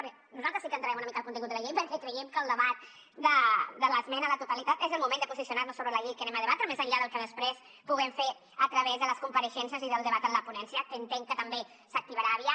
perquè nosaltres sí que entrarem una mica al contingut de la llei perquè creiem que el debat de l’esmena a la totalitat és el moment de posicionar nos sobre la llei que anem a debatre més enllà del que després puguem fer a través de les compareixences i del debat en la ponència que entenc que també s’activarà aviat